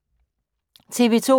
TV 2